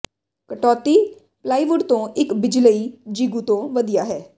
ਕਟੌਤੀ ਪਲਾਈਵੁੱਡ ਤੋਂ ਇਕ ਬਿਜਲਈ ਜਿਗੂ ਤੋਂ ਵਧੀਆ ਹੈ